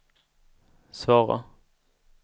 svara